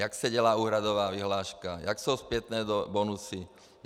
Jak se dělá úhradová vyhláška, jak jsou zpětné bonusy?